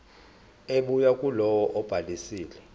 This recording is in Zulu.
ebuya kulowo obhalisile